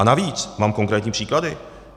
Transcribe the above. A navíc, mám konkrétní příklad.